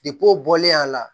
o bɔlen a la